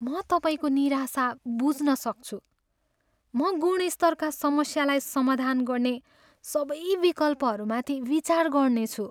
म तपाईँको निराशा बुझ्न सक्छु, म गुणस्तरका समस्यालाई समाधान गर्ने सबै विकल्पहरूमाथि विचार गर्नेछु।